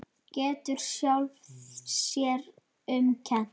Getur sjálfri sér um kennt.